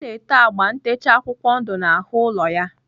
Ọ na-ete agba ntecha akwụkwọ ndụ n'ahụ ụlọ ya.